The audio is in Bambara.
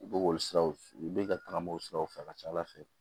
U bɛ k'olu siraw u bɛ ka tagama o siraw fɛ ka ca ala fɛ